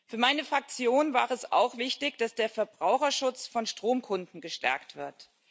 Für meine Fraktion war es auch wichtig, dass der Verbraucherschutz von Stromkunden gestärkt wird.